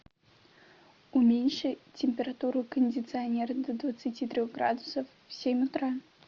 уменьши температуру кондиционера до двадцати трех градусов в семь утра